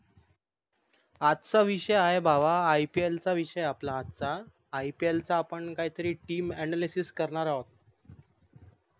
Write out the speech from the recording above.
आजचा विषय आहे भावा IPL चा विषय आहे आपला आजचा IPL चा आपण काहीतरी team anlysis करणार आहोत